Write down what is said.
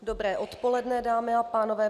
Dobré odpoledne, dámy a pánové.